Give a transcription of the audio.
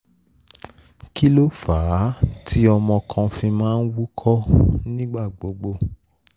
kí ló fà á tí ọmọ kan fi máa ń wúkọ́ nígbà gbogbo?